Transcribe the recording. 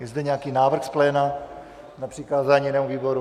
Je zde nějaký návrh z pléna na přikázání jinému výboru?